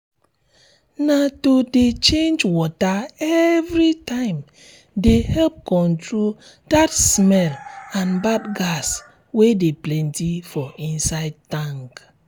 na to de change water everytime de help control that smell and bad gas wey de plenty for inside tank